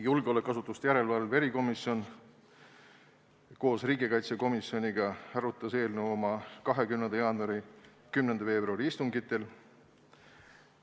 Julgeolekuasutuste järelevalve erikomisjon koos riigikaitsekomisjoniga arutas eelnõu oma 20. jaanuari ja 10. veebruari istungil.